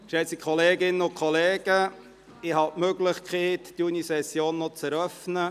Geschätzte Kolleginnen und Kollegen, ich werde die Möglichkeit haben, die Junisession noch zu eröffnen.